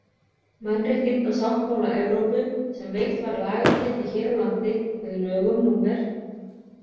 Mannréttindasáttmála Evrópu, sem veitt var lagagildi hér á landi með lögum númer